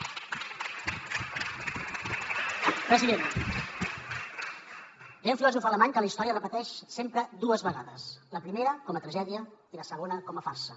president deia un filòsof alemany que la història es repeteix sempre dues vegades la primera com a tragèdia i la segona com a farsa